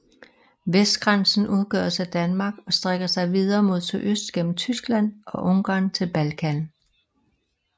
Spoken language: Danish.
Vestgrænsen udgøres af Danmark og strækker sig videre mod sydøst gennem Tyskland og Ungarn til Balkan